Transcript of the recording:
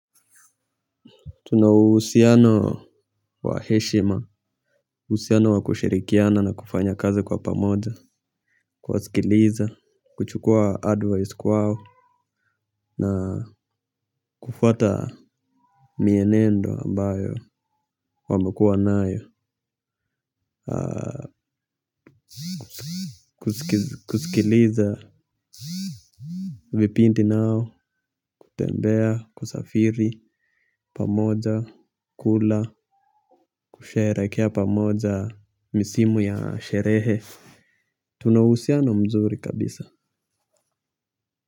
Tuna uhusiano wa heshima. Uhusiano wa kushirikiana na kufanya kazi kwa pamoja. Kuwasikiliza kuchukua advice kwao na kufuata mienendo ambayo wamekuwa nayo. Kusikiliza vipindi nao kutembea, kusafiri, pamoja, kula kusherekea pamoja, misimu ya sherehe. Tuna uhusiano mzuri kabisa.